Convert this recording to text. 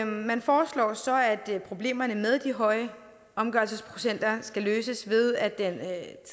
man foreslår så at problemerne med de høje omgørelsesprocenter skal løses ved at den